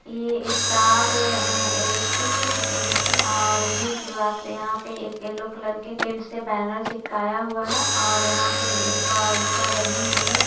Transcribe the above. ये star a electric electric और new शुरुआत यहाँ पे एक येलो कलर के पेंट से बैनर चिपकाया हुआ है और यहाँ पे एक अ रिक्शा लगी हुई है।